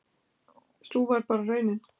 Sú varð bara raunin